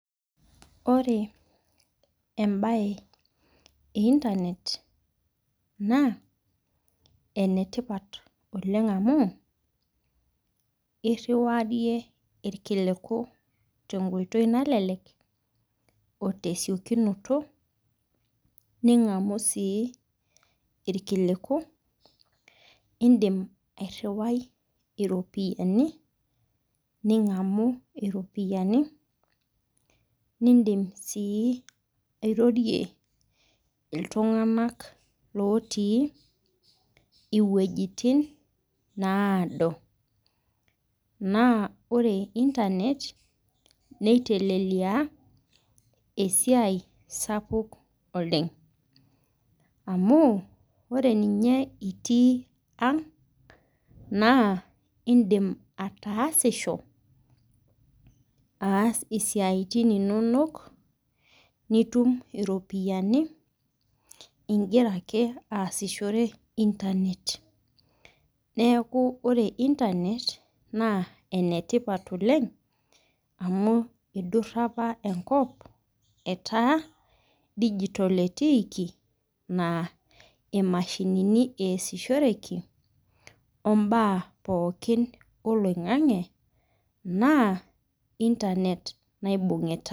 Ore embae e internet na enetipat oleng amu eriwarie irkiluku tenkoitoi tesiokinoto ningamu si irkiluku indim airjwai. Iropiyiani ningamu iropiyiani airorie ltunganak lotii iwuejitin naado na ore[cs[ internet nitelelia Oleng anu ore nye itii ang na indim ataasisho aas siatin inonok nitum iropiyani ibgira aasishore internet idura aoa enkop etaa digital etiiki nataa imashinini easishoreki ombaa poki oloingangi na internet naibungita.